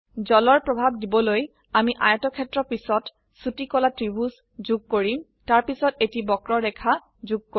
জলৰ প্ৰভাব দিবলৈ আমি আয়তক্ষেত্ৰ পিছত ছোটি কলা ত্ৰিভুজ যোগ কৰিম তাৰপিছত এটি বক্ৰৰেখা যোগ কৰো